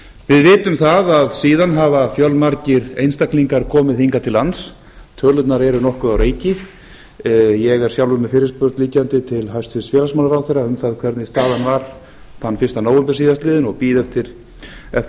við vitum það að síðan hafa fjölmargir einstaklingar komið hingað til lands tölurnar eru nokkuð á reiki ég er sjálfur með fyrirspurn liggjandi til hæstvirts félagsmálaráðherra um það hvernig staðan var þann fyrsta nóvember síðastliðinn og bíð eftir